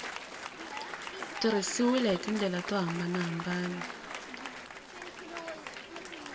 tirhisiwile hi tindlela to hambanahambana